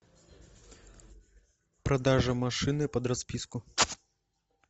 продажа машины под расписку